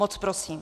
Moc prosím.